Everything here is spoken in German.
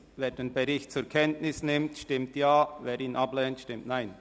Wer den Bericht zur Kenntnis nimmt, stimmt Ja, wer dies ablehnt, stimmt Nein.